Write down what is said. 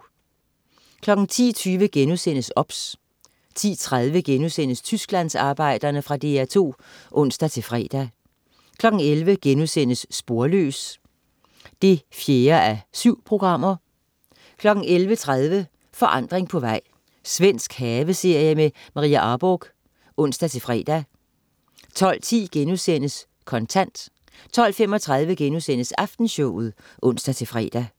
10.20 OBS* 10.30 Tysklandsarbejderne.* Fra DR2 (ons-fre) 11.00 Sporløs 4:7* 11.30 Forandring på vej. Svensk haveserie med Maria Arborgh (ons-fre) 12.10 Kontant* 12.35 Aftenshowet* (ons-fre)